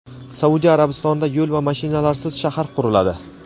Saudiya Arabistonida yo‘l va mashinalarsiz shahar quriladi.